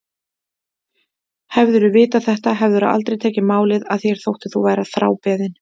Hefðirðu vitað þetta hefðirðu aldrei tekið málið að þér þótt þú værir þrábeðinn.